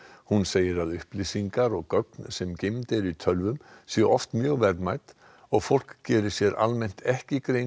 hún segir að upplýsingar og gögn sem geymd eru í tölvum séu oft mjög verðmæt og fólk geri sér almennt ekki grein